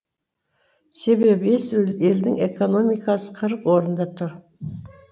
себебі бес елдің экономикасы қырық орында тұр